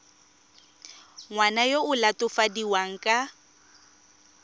ngwana yo o latofadiwang ka